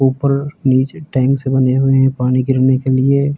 ऊपर नीचे टैंक्स बनी हुए हैं पानी गिरने के लिए।